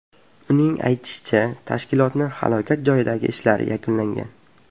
Uning aytishicha, tashkilotlarning halokat joyidagi ishlari yakunlangan.